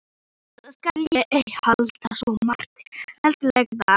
Eftir þetta skal ég ei halda svo marga heilaga daga.